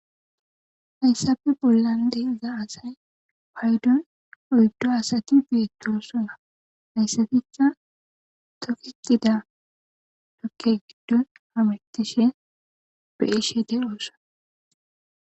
Hayssafe bollandeiza asay paydon oyddo asati beettosona hayssaticha tokixida dokke giddo hametishe be ishede oossa.